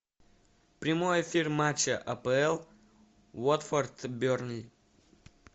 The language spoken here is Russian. прямой эфир матча апл уотфорд бернли